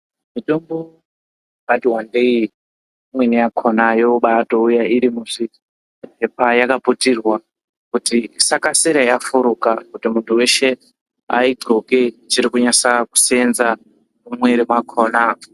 Mitombo yakati wandei imweni yakhona yobatouya iri muzvipepa yakaputirwa kuti isakasira yafuruka muntu weshe ainxoke ichiri kunasa seenza mumwiri mwakhona.